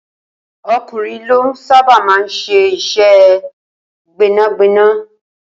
O̩kùnrin ló sábà máa ń s̩e is̩é̩ gbé̩nàgbé̩nà